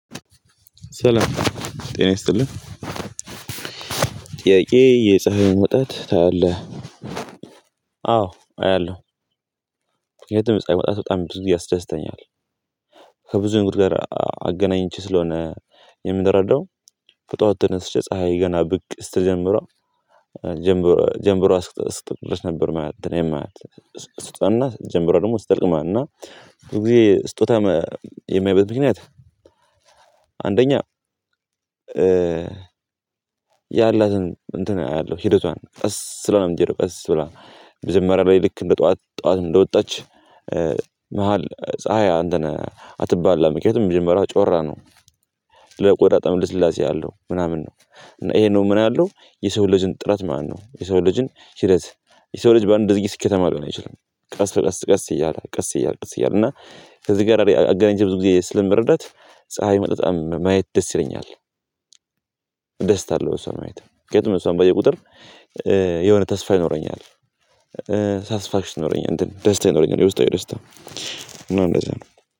ሰላም ጤና ይስጥልኝ። ጥያቄ የፀሀይ መውጣት ታያለህ? አዎ አያለሁ። የትም የፀሀይ መዉጣት በጣም ያደስተኛል። ከብዙ ጋ ነገሮችር አገናኝቼ ስለሆነ የምንረዳው በጠዎት ትነስሼ ፀሀይ ገና ብቅ ስትጀምረው ጀምሮ። ጀምበሮ አስክጠልቅ ነበርማየት እኔም ማየት ስትጠና ጀምበረው ደግሞ ስትጠልቅማ እና ብዙ ጊዜ ስጦታ የማየው ምክንያት። አንደኛ ያላትን እንትን አያለሁ ሂደቷን ቀስ ስለሆነም እንዴ ቀስ ብለህ መጀመሪያ ላይ ልክ እንደ ጠዋት ጠዋት እንደወጣች መሃል ፀሀያ አንተን ከየትም ጀምሯ ጮራ ነው። ለቆራዳ በጣም ልስላሴ አለው ምናምን ነው። ይሄ ነው ምን ያለው የሰው ልጅን ጥረት ማነው? የሰው ልጅን ሂደት የሰው ልጅ በአንድ ድርጊት ስኬተማ ሊሆን ይችላል። ቀስ ቀስ ቀስ እያለ ቀስ እያለ ቀስ እያለ እና ከዚህ ጋር አገናኝቼ ብዙ ጊዜ ስለምርደት ፀሀይ መጠጣም ማየት ደስ ይለኛል። እደሰታለው እሷ ማየት ነው ምክንያቱም እሷን ባየህ ቁጥር የሆነ ተስፋ ይኖረኛል። ሳትስፋክሽን ይኖረኛል ደስታ ይኖረኛል የውስጣዊ ደስታ ነው እንደዛ ነው